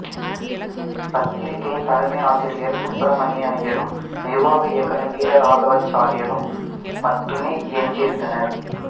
பத்திரிக்கையின் தலைமை ஆசிரியர் சுப்பிரமணிய ஐயரும் நிர்வாக இயக்குனர் வீரராகவாச்சாரியரும் மட்டுமே எஞ்சியிருந்தனர்